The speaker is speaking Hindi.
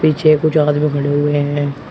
पीछे कुछ आदमी खड़े हुए हैं।